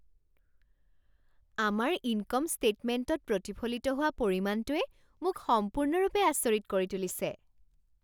আমাৰ ইনকম ষ্টেটমেণ্টত প্ৰতিফলিত হোৱা পৰিমাণটোৱে মোক সম্পূৰ্ণৰূপে আচৰিত কৰি তুলিছে।